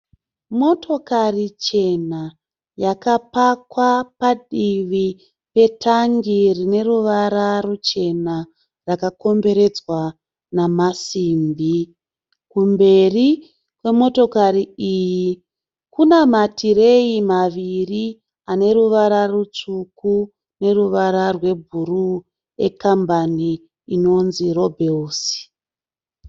Motokari chena yakapakwa padivi petangi rine ruvara ruchena rakakomberedzwa namasimbi. Kumberi kwemotokari iyi kuna matireyi maviri ane ruvara rutsvuku neruvara rwebhuruu ekambani inonzi 'Lobels'.